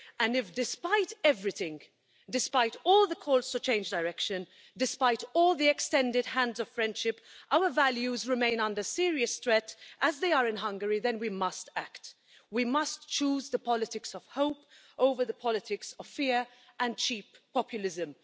If, despite everything, despite all the calls to change direction, despite all the extended hands of friendship, our values remain under serious threat, as they are in Hungary, then we must act. We must choose the politics of hope over the politics of fear and cheap populism.